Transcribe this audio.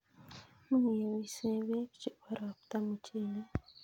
Much kepise peek chebo ropta muchelek